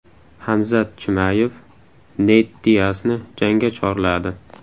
Hamzat Chimayev Neyt Diasni jangga chorladi.